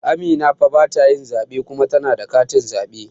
Amina fa batayin zaɓe kuma tana da katin zaɓe